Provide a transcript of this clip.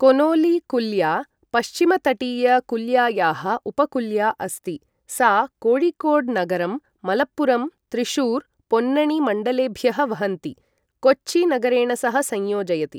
Connolly कुल्या, पश्चिमतटीय कुल्यायाः उपकुल्या अस्ति, सा कोयिकोड् नगरं, मलप्पुरम् त्रिशूर् पोन्नणी मण्डलेभ्यः वहन्ती, कोच्चि नगरेण सह संयोजयति।